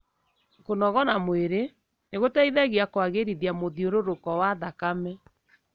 kũnogora mwĩri nĩgũteithagia kũagĩrithia mũthĩurũruko wa thakame.